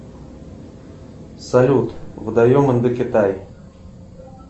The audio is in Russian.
салют водоем индокитай